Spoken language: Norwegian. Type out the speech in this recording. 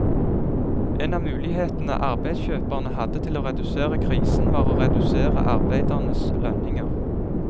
En av mulighetene arbeidskjøperne hadde til å redusere krisen var å redusere arbeidernes lønninger.